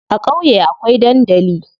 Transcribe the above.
A ƙauye akwai dandali.